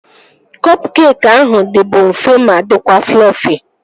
Kọp keekị ahụ dịbu mfe ma dịkwa flọfi